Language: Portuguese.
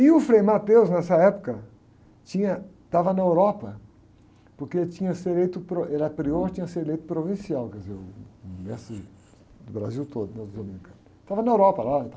E o Frei, nessa época, tinha, estava na Europa, porque sido eleito pro, ele era prior, tinha sido eleito provincial, quer dizer uh, o mestre de, do Brasil todo nos dominicanos, estava na Europa lá e tal